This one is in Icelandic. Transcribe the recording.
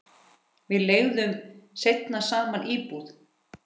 Við leigðum seinna saman íbúð.